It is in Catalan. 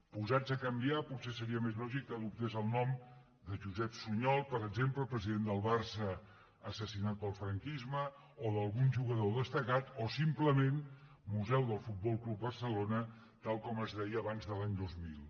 posats a canviar lo potser seria més lògic que adoptés el nom de josep sunyol per exemple president barça assassinat pel franquisme o d’algun jugador destacat o simplement museu del futbol club barcelona tal com es deia abans de l’any dos mil